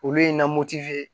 Olu ye na